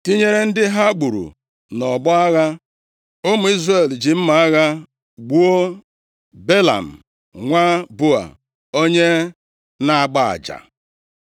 Tinyere ndị ha gburu nʼọgbọ agha, ụmụ Izrel ji mma agha gbuo Belam nwa Beoa, onye na-agba aja.